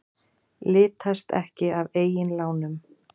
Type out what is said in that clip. Litast ekki af eigin lánum